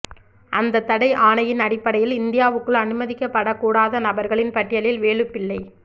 அந்தத் தடை ஆணையின் அடிப் படையில் இந்தியாவுக்குள் அனுமதிக்கப்படக் கூடாத நபர்களின் பட்டியலில் வேலுப்பிள்ளை